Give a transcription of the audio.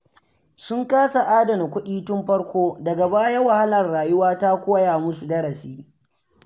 Sun kasa adana kuɗi tun farko, daga baya wahalar rayuwa ta koya musu darasi.